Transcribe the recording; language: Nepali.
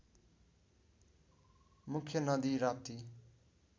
मुख्य नदी राप्ती